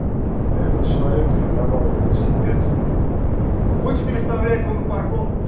этот человек арендовал велосипед вы будете переставлять его на парковку